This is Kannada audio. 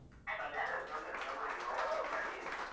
ತೊಂದ್ರೆ ಇಲ್ಲ ತೊಂದ್ರೆ ಇಲ್ಲ ತೊಂದ್ರೆ ಇಲ್ಲ ಇವಾಗ WhatsApp ಮಾಡಿ.